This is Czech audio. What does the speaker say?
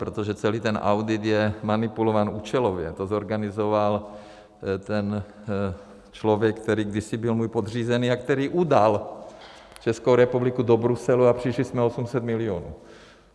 Protože celý ten audit je manipulován účelově, to zorganizoval ten člověk, který kdysi byl můj podřízený a který udal Českou republiku do Bruselu a přišli jsme o 800 milionů.